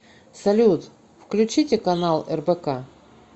салют включите канал рбк